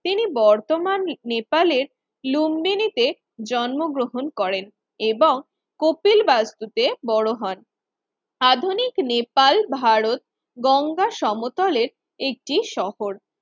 তিনি বর্তমানে নেপালের লুম্বিনী তে জন্মগ্রহণ করেন এবং কপিল বাস্তুতে বড় হন। আধুনিক নেপাল ভারত গঙ্গা সমতলের একটি শহর